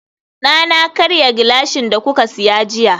dana karya gilashin da kuka siya jiya